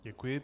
Děkuji.